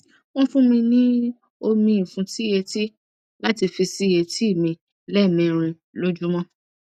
wọn fún mi ní omi ìfúntí etí láti fi sí etí mi lẹẹmẹrin lójúmọ